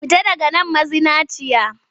Fita daga man mazinaciya!